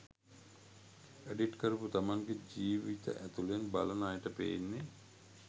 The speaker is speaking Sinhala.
එඩිට් කරපු තමන්ගෙ ජීවත ඇතුලෙන් බලන අයට පේන්නෙ